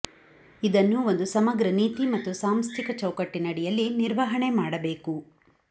ಇದನ್ನು ಒಂದು ಸಮಗ್ರ ನೀತಿ ಮತ್ತು ಸಾಂಸ್ಥಿಕ ಚೌಕಟ್ಟಿನಡಿಯಲ್ಲಿ ನಿರ್ವಹಣೆ ಮಾಡಬೇಕು